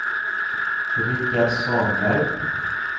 Rikard Svanberg